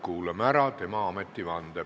Kuulame ära tema ametivande.